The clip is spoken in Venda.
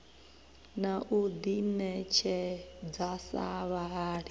na u ḓiṋetshedza sa vhahali